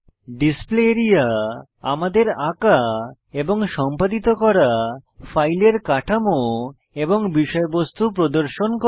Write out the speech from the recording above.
display area আমাদের আঁকা এবং সম্পাদিত করা ফাইলের কাঠামো এবং বিষয়বস্তু প্রদর্শন করে